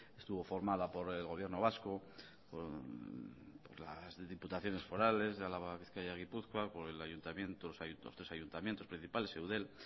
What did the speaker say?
estuvo formada por el gobierno vasco por las diputaciones forales de álava bizkaia y gipuzkoa por los tres ayuntamientos principales eudel